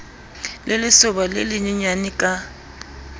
le lesoba le lenyenyane ka